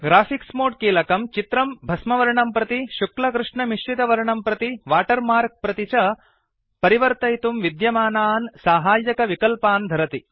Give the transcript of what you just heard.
graphics मोदे कीलकं चित्रं भस्मवर्णं प्रति शुक्ल कृष्णमिश्रितवर्णं प्रति वाटर् मार्क् प्रति च परिवर्तयितुं विद्यमानान् साहाय्यकविकल्पान् धरति